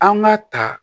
An ka ta